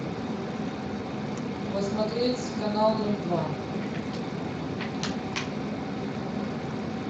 посмотреть канал ноль два